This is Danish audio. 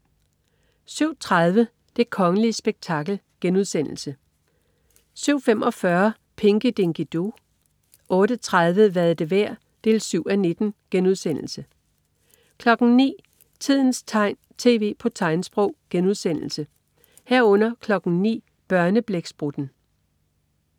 07.30 Det kongelige spektakel* 07.45 Pinky Dinky Doo 08.30 Hvad er det værd? 7:19* 09.00 Tidens tegn, tv på tegnsprog* 09.00 Børneblæksprutten*